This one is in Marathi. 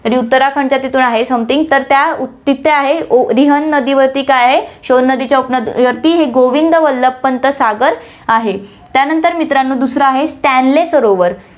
ती उत्तराखंडच्या तिथून आहे, something तर त्या तिथे आहे, रिहन्द नदीवरती काय आहे, शोण नदीच्या उपनदीवरती हे गोविंद वल्लभ पंत सागर आहे. त्यानंतर मित्रांनो, दुसरं आहे स्टेनली सरोवर